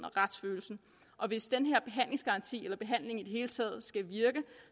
og retsfølelsen og hvis den her behandlingsgaranti eller behandling i det hele taget skal virke